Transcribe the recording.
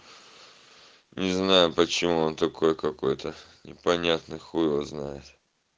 не знаю почему он такой какой-то непонятный х его знает